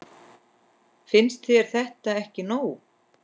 Finnst þér þetta ekki nóg?